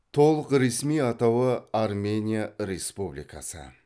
толық ресми атауы армения республикасы